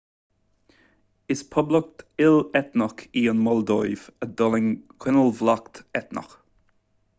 is poblacht il-eitneach í an mholdóiv a d'fhulaing coinbhleacht eitneach